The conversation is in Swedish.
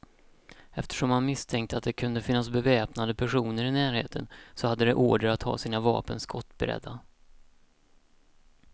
Eftersom man misstänkte att det kunde finnas beväpnade personer i närheten, så hade de order att ha sina vapen skottberedda.